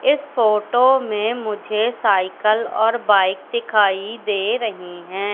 इस फोटो में मुझे साइकल और बाइक दिखाई दे रही है।